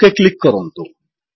okay click କରନ୍ତୁ